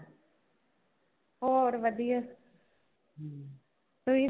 ਹੋਰ ਵਧੀਆ ਤੁਸੀਂ